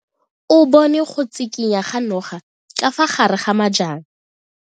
O bone go tshikinya ga noga ka fa gare ga majang.